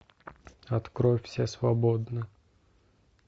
открой все свободны